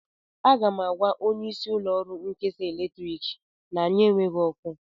Aga m agwa onyeisi ụlọọrụ nkesa eletrik na anyị enweghị ọkụ